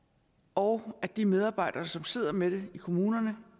og at de medarbejdere som sidder med det i kommunerne